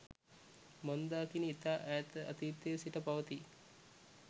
මන්දාකිණි ඉතා ඈත අතීතයේ සිට පවතියි